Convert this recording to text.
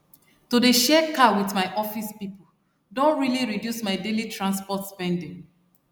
to dey share car with my office people don really reduce my daily transport spending